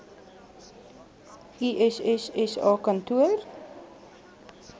iss sa kantoor